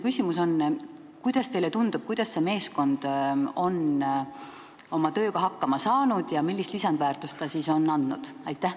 Kuidas teile tundub, kuidas see meeskond on oma tööga hakkama saanud ja millist lisandväärtust ta on andnud?